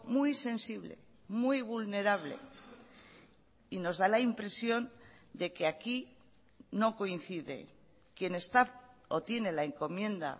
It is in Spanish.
muy sensible muy vulnerable y nos da la impresión de que aquí no coincidequien está o tiene la encomienda